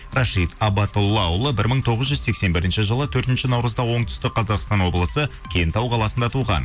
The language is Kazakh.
рашид абатоллаұлы бір мың тоғыз сексен бірінші жылы төртінші наурызда оңтүстік қазақстан облысы кентау қаласында туған